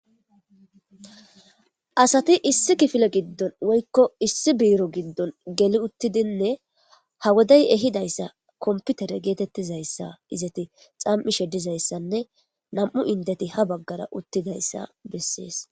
asati issi kifile giddon woykko issi biiro giddon geli uttidinne ha woday ehidayssa komputere geetettizayssa izati xam7ishe dizayssanne nam7u indeti ha baggara uttidayssa bessees